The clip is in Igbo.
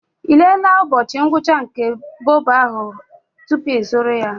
Ị lelee ụbọchị ngwụcha nke bobo ahụ tupu ịzụrụ ya?